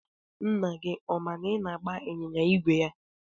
Nna gị ọ ma na ị na-agba ịnyịnya ígwè ya?